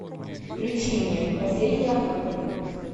включи мне последний охотник